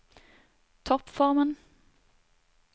toppformen